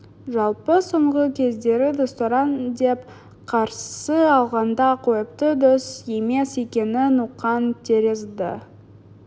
жалпы соңғы кездері достарым деп қарсы алғанда қойыпты дос емес екенін ұққан тәрізді